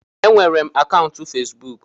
Enwere m akaụntụ Fesbụụk